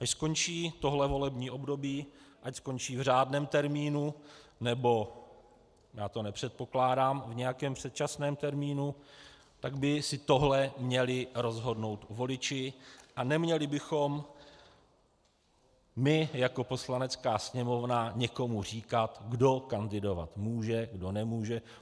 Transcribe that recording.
Až skončí tohle volební období, ať skončí v řádném termínu, nebo - já to nepředpokládám - v nějakém předčasném termínu, tak by si tohle měli rozhodnout voliči a neměli bychom my jako Poslanecká sněmovna někomu říkat, kdo kandidovat může, kdo nemůže.